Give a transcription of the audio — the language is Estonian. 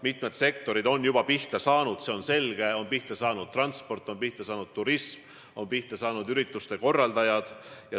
Mitmed sektorid on juba pihta saanud, see on selge: on pihta saanud transport, on pihta saanud turism, on pihta saanud ürituste korraldajad.